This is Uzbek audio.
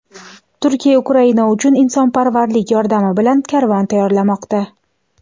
Turkiya Ukraina uchun insonparvarlik yordami bilan karvon tayyorlamoqda.